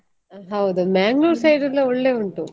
ಹೌದು Manglore side ಎಲ್ಲಾ ಒಳ್ಳೆ ಉಂಟು.